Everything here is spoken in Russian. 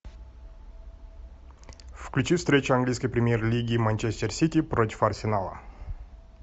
включи встречу английской премьер лиги манчестер сити против арсенала